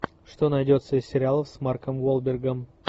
что найдется из сериалов с марком уолбергом